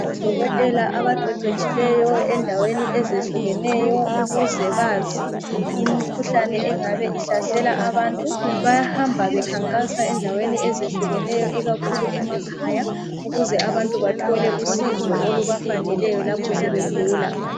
Odokotela abaqeqetshileyo endaweni ezehlukeneyo ukuze bazi imkhuhlane engabe ihlasela abantu. Bayahamba bekhankasa endaweni ezehlukeneyo ikakhulu emakhaya ukuze abantu bathole usizo olubafaneleyo lapho sebegula